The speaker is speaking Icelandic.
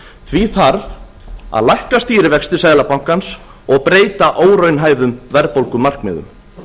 því þarf að lækka stýrivexti seðlabankans og breyta óraunhæfum verðbólgumarkmiðum